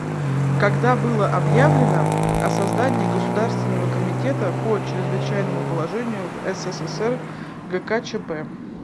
когда было объявлено о создании государственного комитета по чрезвычайному положению в ссср гкчп